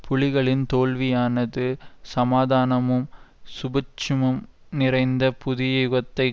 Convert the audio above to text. புலிகளின் தோல்வியானது சமாதானமும் சுபீட்சமும் நிறைந்த புதிய யுகத்தைக்